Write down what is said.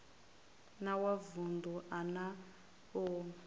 wa vunḓu a na u